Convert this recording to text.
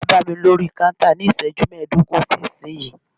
Wá bámi lórí kántà ní iṣẹ́jú mẹdogun sí ìsínyìí!